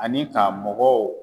Ani ka mɔgɔw